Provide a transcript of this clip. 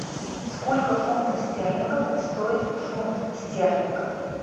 сколько фунтов стерлингов стоит фунт стерлингов